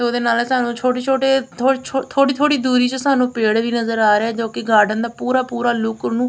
ਉਹਦੇ ਨਾਲ ਸਾਨੂੰ ਛੋਟੇ ਛੋਟੇ ਥੋੜੀ ਛੋ ਥੋੜੀ ਥੋੜੀ ਦੂਰੀ ਚ ਸਾਨੂੰ ਪੇੜ ਵੀ ਨਜ਼ਰ ਆ ਰਹੇ ਐ ਜੋ ਕਿ ਗਾਰਡਨ ਦਾ ਪੂਰਾ ਪੂਰਾ ਲੁੱਕ ਉਹਨੂੰ--